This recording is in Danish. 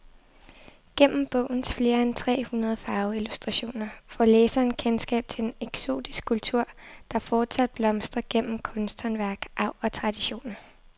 Gennem bogens flere end tre hundrede farveillustrationer får læseren kendskab til en eksotisk kultur, der fortsat blomstrer gennem kunsthåndværk, arv og traditioner.